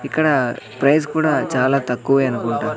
ఇక్కడ ప్రైజ్ కూడా చాలా తక్కువే అనుకుంటా.